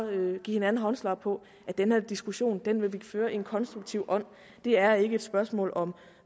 give hinanden håndslag på at den her diskussion vil vi føre i en konstruktiv ånd det er ikke et spørgsmål om